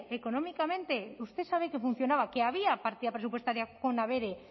económicamente usted sabe que funcionaba que había partida presupuestaria con abere